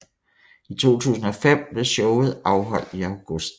I 2005 blev showet afholdt i august